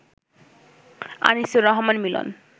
Anisur Rahman Milan